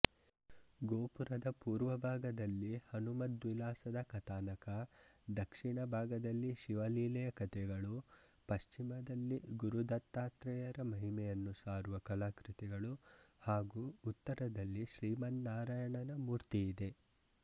ಗೋಪುರದ ಪೂರ್ವಭಾಗದಲ್ಲಿ ಹನುಮದ್ವಿಲಾಸದ ಕಥಾನಕದಕ್ಷಿಣಭಾಗದಲ್ಲಿ ಶಿವಲೀಲೆಯ ಕಥೆಗಳು ಪಶ್ಚಿಮದಲ್ಲಿ ಗುರುದತ್ತಾತ್ರೇಯರ ಮಹಿಮೆಯನ್ನು ಸಾರುವ ಕಲಾಕೃತಿಗಳು ಹಾಗೂ ಉತ್ತರದಲ್ಲಿ ಶ್ರೀಮನ್ನಾರಾಯಣನ ಮೂರ್ತಿಯಿದೆ